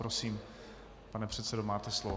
Prosím, pane předsedo, máte slovo.